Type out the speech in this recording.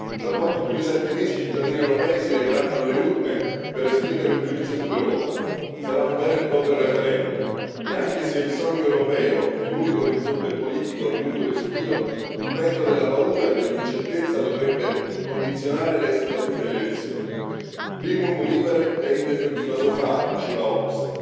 Tra poco più di 7 mesi i cittadini europei si recheranno alle urne per esprimere un giudizio sull'Europa, sarà un vero e proprio referendum e anche se il sogno europeo è l'unico orizzonte politico di lungo respiro, il vento della paura e dell'incertezza potrebbe condizionare l'esito delle elezioni. Primum vivere deinde philosophari diceva Hobbes.